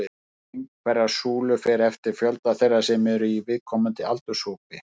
Lengd hverrar súlu fer eftir fjölda þeirra sem eru í viðkomandi aldurshópi.